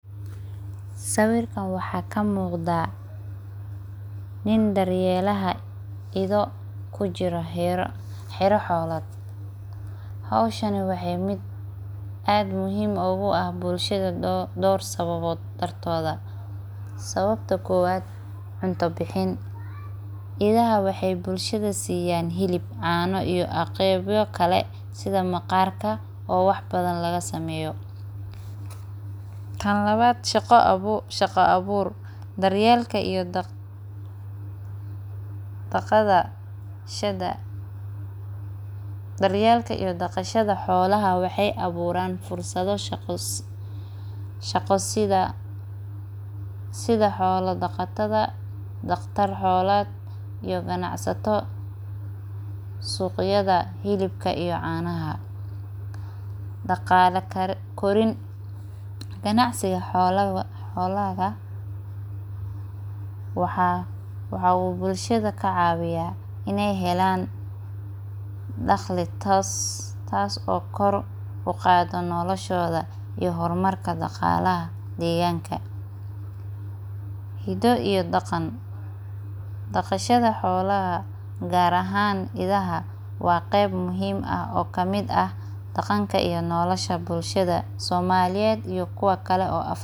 Sawirkan waxaa kamuqda nin daryelaha idho kujiro xera xolaad hoshani waxee aad muhiim ogu ah dor sababod dartoda sawabta kowad cunto bixin idhaha waxee bulshada siyan hilib cano iyo qebuo kale sitha maqarka laga sameyo waxyala badan, tan lawad shaqo aburka daryelka iyo daqashada xolaha waxee aburan fursado shaqa sitha xola daqatada daqtar xolad suqyada iyo hilibka daqale korin ganacsiga xolaha waxaa bulshada kacawiya in ee helan daqli tas oo kor uqadha noloshoda iyo hormarka daqalaha deganka hodo iyo daqan daqashada xolaha gar ahan idhaha waa qab kamid ah nolosha iyo bulshada somaliyeed iyo kuwa kale oo.